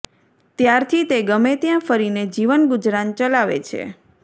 ત્યારથી તે ગમે ત્યાં ફરીને જીવન ગુજરાન ચલાવે છે